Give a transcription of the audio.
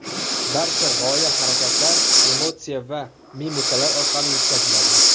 Barcha g‘oya harakatlar, emotsiya va mimikalar orqali yetkaziladi.